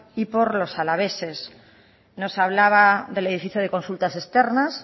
y por los alaveses nos hablaba del edificio de consultas externas